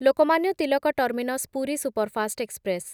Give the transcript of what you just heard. Lokmanya Tilak terminus Puri superfast express